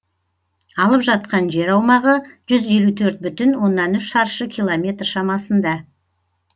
алып жатқан жер аумағы жүз елу төрт бүтін оннан үш шаршы километр шамасында